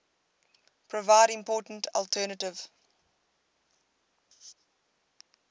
provide important alternative